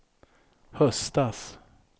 höstas